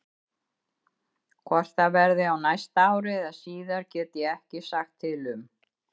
Hvort það verði á næsta ári eða síðar get ég ekki sagt til um.